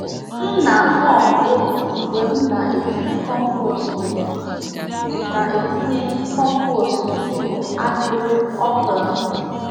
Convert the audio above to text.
M na-hum egwu mgbe m na-etinye compost m na-etinye compost n'okpuru ahịrị okra m.